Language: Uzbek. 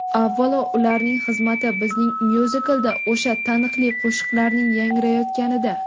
Avvalo, ularning xizmati bizning myuziklda o‘sha taniqli qo‘shiqlarning yangrayotganida.